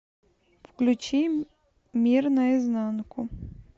включи мир наизнанку